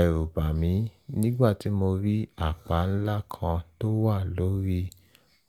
ẹ̀rù bà mí nígbà tí mo rí àpá ńlá kan tó wà lórí